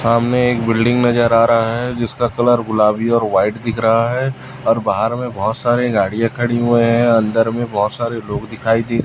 सामने एक बिल्डिंग नजर आ रहा है जिसका कलर गुलाबी और व्हाइट दिख रहा है और बाहर में बहोत सारे गाड़ियां खड़ी हुए हैं अंदर में बहोत सारे लोग दिखाई दे--